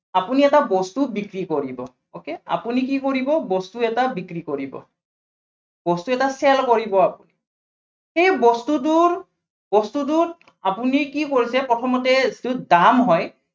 আপুনি এটা বস্তু বিক্ৰী কৰিব okay আপুনি কি কৰিব, বস্তু এটা বিক্ৰী কৰিব। বস্তু এটা sale কৰিব সেই বস্তুটোৰ, বস্তুটোত আপুনি কি কৰিছে, প্ৰথমতে যিটো দাম হয়